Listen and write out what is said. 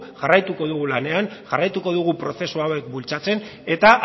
jarraituko dugu lanean jarraituko dugu prozesu hauek bultzatzen eta